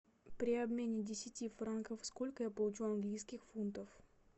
при обмене десяти франков сколько я получу английских фунтов